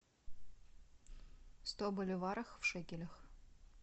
сто боливаров в шекелях